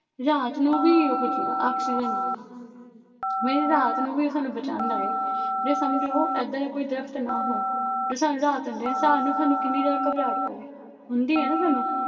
ਰਾਤ ਨੂੰ ਵੀ ਉਹ ਦਿੰਦਾ ਆਕਸੀਜਨ ਦਿੰਦਾ ਇਹ ਰਾਤ ਨੂੰ ਵੀ ਸਾਨੂੰ ਬਚਾਉਂਦਾ ਹੈ, ਜੇ ਸਮਝੋ ਏਦਾਂ ਦਾ ਕੋਈ ਦਰਖਤ ਨਾ ਹੋ ਜੋ ਸਾਨੂੰ ਰਾਤ ਨੂੰ ਦੇਣ, ਸਾਨੂੰ ਸਾਨੂੰ ਕਿੰਨੀ ਜ਼ਿਆਦਾ ਘਬਰਾਹਟ ਹੋਵੇ, ਹੁੰਦੀ ਹੈ ਨਾ ਸਾਨੂੰ।